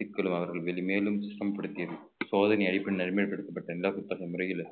சிக்கலும் அவர்கள் மேலும் மேலும் சுத்தம் படுத்தியது சோதனை அடிப்படையில் நடைமுறைப்படுத்தப்பட்ட இந்த புத்தக முறையில